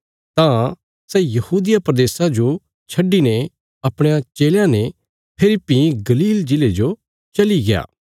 तां सै यहूदिया प्रदेशा जो छड्डिने बापस अपणयां चेलयां सौगी गलील प्रदेशा जो चलिग्या